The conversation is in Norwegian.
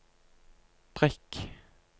prikk